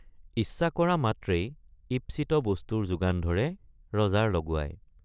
ইচ্ছা কৰা মাত্ৰেই ঈপ্সিত বস্তুৰ যোগান ধৰে ৰজাৰ লগুৱাই।